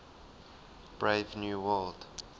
brave new world